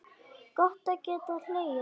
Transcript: Gott að geta hlegið.